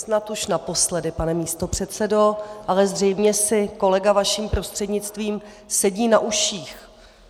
Snad už naposledy, pane místopředsedo, ale zřejmě si kolega vaším prostřednictvím sedí na uších.